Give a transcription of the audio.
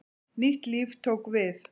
Nýtt líf tók við.